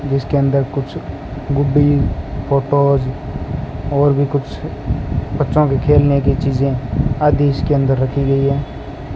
जिसके अंदर कुछ गुड्डी फोटोज और भी कुछ बच्चों के खेलने की चीजें आदि इसके अंदर रखी गई है।